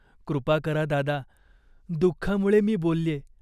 "कृपा करा दादा. दुःखामुळे मी बोलल्ये.